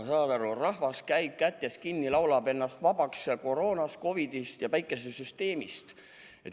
Saad aru, rahvas käib kätest kinni hoides ja laulab ennast vabaks koroonast, COVID-ist ja päikesesüsteemist.